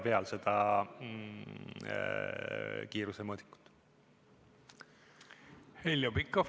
Heljo Pikhof, palun!